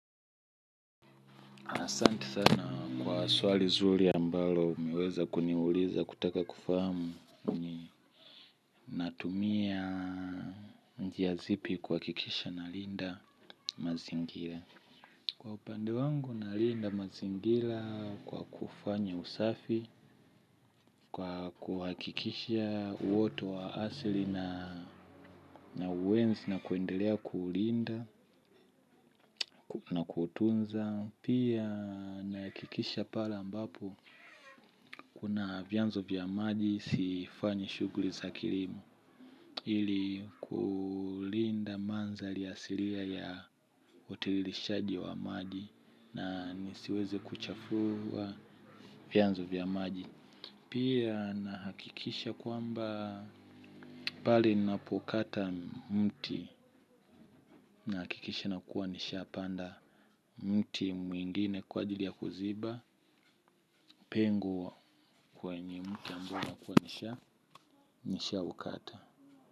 Asante sana kwa swali zuri ambalo umeweza kuniuliza kutaka kufahamu ninatumia njia zipi kuhakikisha nalinda mazingira. Kwa upande wangu nalinda mazingira kwa kufanya usafi, kwa kuhakikisha uoto wa asili na uenzi na kuendelea kuulinda na kuutunza. Pia nahakikisha pale ambapo kuna vyanzo vya maji sifanyi shughuli za kilimo ili kulinda mandhari asilia ya utiririshaji wa maji na nisiweze kuchafua vyanzo vya maji. Pia nahakikisha kwamba pale ninapokata mti nahakikisha na kuwa nishapanda mti mwingine kwa ajili ya kuziba pengo kwenye mti ambao nakua nishaukata.